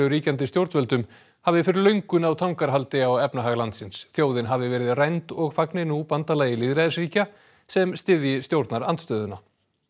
ríkjandi stjórnvöldum hafi fyrir löngu náð tangarhaldi á efnahag landsins þjóðin hafi verið rænd og fagni nú bandalagi lýðræðisríkja sem styðji stjórnarandstöðuna